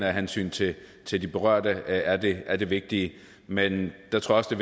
af hensyn til til de berørte er det er det vigtige men jeg tror også det